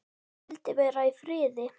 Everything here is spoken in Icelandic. Vildi vera í friði.